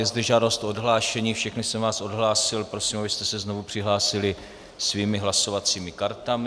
Je zde žádost o odhlášení, všechny jsem vás odhlásil, prosím, abyste se znovu přihlásili svými hlasovacími kartami.